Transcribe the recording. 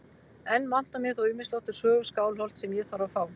Enn vantar mig þó ýmislegt úr sögu Skálholts sem ég þarf að fá.